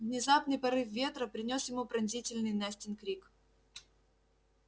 внезапный порыв ветра принёс ему пронзительный настин крик